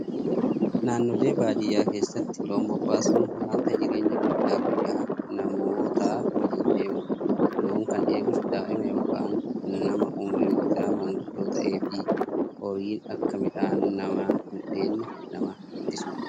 Naannoolee baadiyyaa keessatti loon bobbaasuun wanta jireenya guyyaa guyyaa namootaa waliin deemudha. Loon kan eegus daa'ima yookiin nama umriin isaa maanguddoo ta'ee fi horiin akka midhaan namaa hin dheedne nama ittisudha